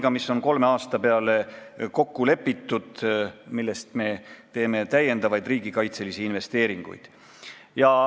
Selles on kolme aasta peale kokku lepitud, milleks me teeme täiendavaid riigikaitselisi investeeringuid.